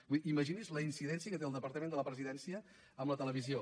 vull dir imagini’s la incidència que té el departament de la presidència en la televisió